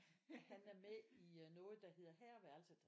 Han er med i noget der hedder Herreværelset